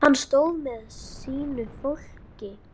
Hann stóð með sínu fólki.